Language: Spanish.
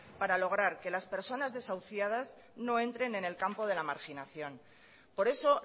para lograr que las personas desahuciadas no entren en el campo de la marginación por eso